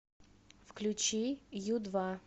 включи ю два